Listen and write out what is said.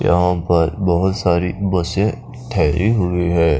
यहाँ पर बहोत सारी बसें ठहरी हुई हैं।